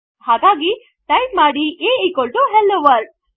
ಹಾಗಾಗಿ ಟೈಪ್ ಮಾಡಿ a hello world